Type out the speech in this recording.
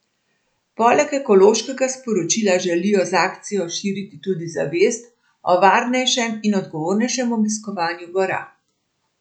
Poleg ekološkega sporočila želijo z akcijo širiti tudi zavest o varnejšem in odgovornejšem obiskovanju gora.